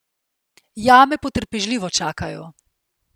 Jame potrpežljivo čakajo.